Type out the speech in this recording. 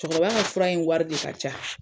Cɛkɔrɔba ka fura in wari de ka ca.